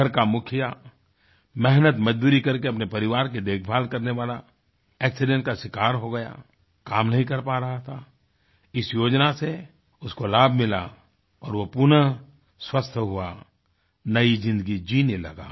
घर का मुखिया मेहनतमजदूरी करके अपने परिवार की देखभाल करने वाला एक्सीडेंट का शिकार हो गया काम नहीं कर पा रहा था इस योजना से उसको लाभ मिला और वो पुनः स्वस्थ हुआ नई ज़िन्दगी जीने लगा